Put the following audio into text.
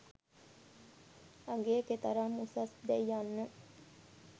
අගය කෙතරම් උසස්’දැයි යන්න